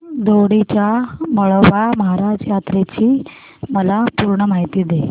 दोडी च्या म्हाळोबा महाराज यात्रेची मला पूर्ण माहिती दे